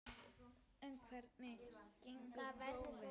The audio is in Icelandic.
En hvernig gengu prófin?